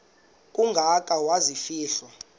kangaka waza kufihlwa